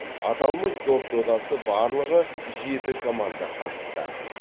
аталмыш доп додасы барлығы жеті команда қатысты